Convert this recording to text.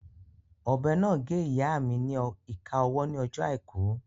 Ọ̀bẹ náà gé ìyáa mi ni ìka ọwọ́ ní ọjọ́ àìkú